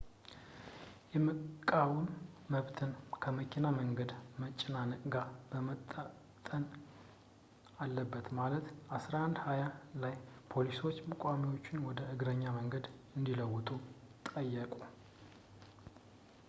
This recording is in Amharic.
የመቃወም መብትን ከመኪና መንገድ መጨናነቅ ጋር መመጣጠን አለበት በማለት 11፡20 ላይ ፖሊሶች ተቋሚዎቹን ወደ እግረኛ መንገድ እንዲመለሱ ጠየቁ